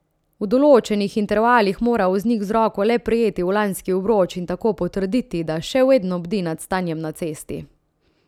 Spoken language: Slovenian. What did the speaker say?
V določenih intervalih mora voznik z roko le prijeti volanski obroč in tako potrditi, da še vedno bdi nad stanjem na cesti.